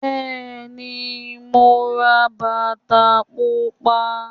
Bẹ́è ní, mo ra bàtà pupa.